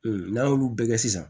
n'an y'olu bɛɛ kɛ sisan